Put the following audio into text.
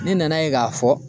Ne nana ye ka fɔ